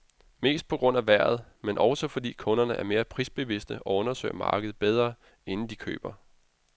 Mest på grund af vejret, men også fordi kunderne er mere prisbevidste og undersøger markedet bedre, inden de køber.